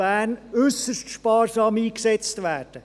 Bern äussert sparsam eingesetzt werden –